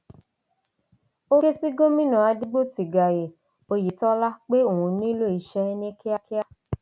ó ké sí gómìnà adégbòtigayé oyetola pé òun nílò iṣẹ ní kíákíá